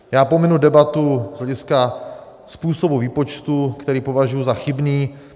Já pominu debatu z hlediska způsobu výpočtu, který považuji za chybný.